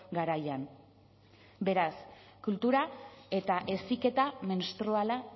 garaian beraz kultura eta heziketa menstruala